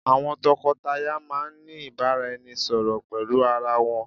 Àwọn tòkó-tàyá máà ní ìbáraẹnisọ̀rọ̀ pẹlú arà wọn